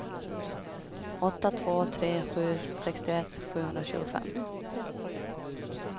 åtta två tre sju sextioett sjuhundratjugofem